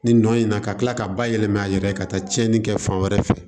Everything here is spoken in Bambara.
Nin nɔ in na ka kila ka bayɛlɛma a yɛrɛ ye ka taa tiɲɛni kɛ fan wɛrɛ fɛ